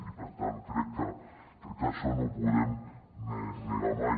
i per tant crec que això no ho podem negar mai